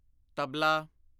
tabla